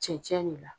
Cɛncɛn de la